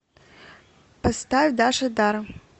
поставь даша дару